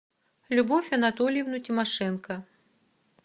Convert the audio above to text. любовь анатольевну тимошенко